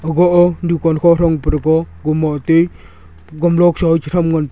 go a dukan kha thrang praga . gumlok cha